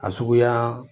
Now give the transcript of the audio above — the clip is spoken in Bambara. A suguyaa